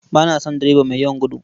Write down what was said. Ba na son direba mai yawan gudu.